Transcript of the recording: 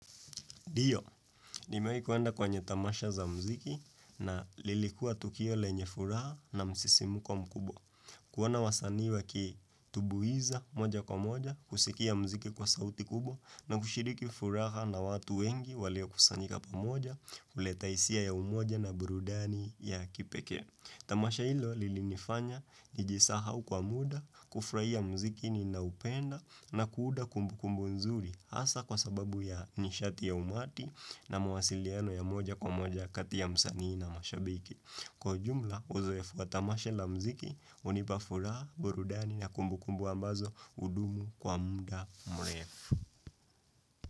Dio, nimewai kuenda kwenye tamasha za mziki na lilikua tukio lenye furaha na msisimuko mkubwa. Kuona wasanii wakitubuiza moja kwa moja, kusikia mziki kwa sauti kubwa na kushiriki furaha na watu wengi waliokusanyika pamoja, kuleta hisia ya umoja na burudani ya kipekee. Tamasha hilo lilinifanya nijisahau kwa muda, kufurahia muziki ninaoupenda na kuuda kumbu kumbu nzuri hasa kwa sababu ya nishati ya umati na mawasiliano ya moja kwa moja kati ya msanii na mashabiki. Kwa ujumla, uzoefu fwa tamasha la mziki, hunipa furaha, burudani na kumbukumbu ambazo hudumu kwa muda mrefu.